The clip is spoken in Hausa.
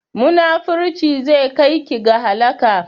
Munafurci zai kai ki ga halaka